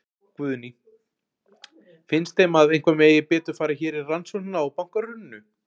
Guðný: Finnst þeim að eitthvað megi betur fara hér í rannsóknina á bankahruninu?